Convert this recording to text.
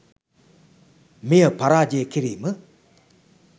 මෙය පරාජය කිරීම